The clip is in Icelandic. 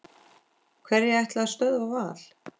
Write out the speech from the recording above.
Hverjir ætla að stöðva Val?